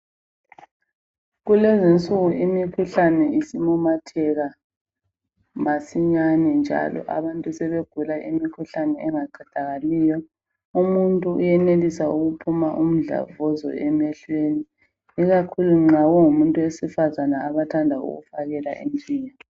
Kulezinsuku imikhuhlane isimemetheka masinyane njalo abantu sebegula imikhuhlane engaqedakaliyo. Umuntu uyenelisa ukuphuma umdlavuza emehlweni ikakhulu nxa umuntu wesifazana abathanda ukufakela intshiya.